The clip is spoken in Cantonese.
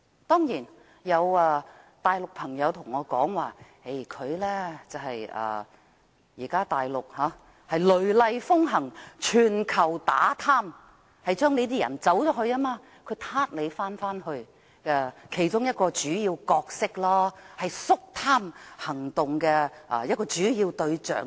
當然，有大陸朋友告訴我，現時大陸雷厲風行、全球打貪，他是逃逸後被抓回去的其中一個主要角色，只是肅貪行動的一個主要對象。